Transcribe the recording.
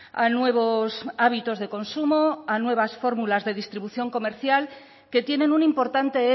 a nuevos hábitos de consumo a nuevas fórmulas de distribución comercial que tienen un importante